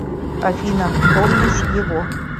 афина помнишь его